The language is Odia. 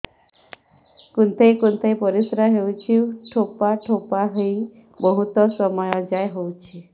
କୁନ୍ଥେଇ କୁନ୍ଥେଇ ପରିଶ୍ରା ହଉଛି ଠୋପା ଠୋପା ହେଇ ବହୁତ ସମୟ ଯାଏ ହଉଛି